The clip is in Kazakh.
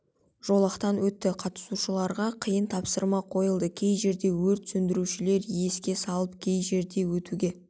жолақтан өтті қатысушыларға қиын тапсырма қойылды кей жерде өрт сөндірушілер еске салып кей жерде өтуге